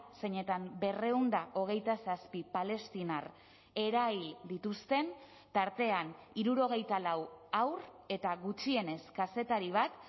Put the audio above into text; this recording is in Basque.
zeinetan berrehun eta hogeita zazpi palestinar erail dituzten tartean hirurogeita lau haur eta gutxienez kazetari bat